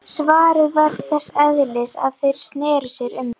Svarið var þess eðlis að þeir sneru sér undan.